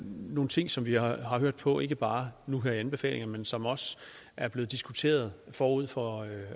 nogle ting som vi har hørt på ikke bare nu her i anbefalingerne men som også er blevet diskuteret forud for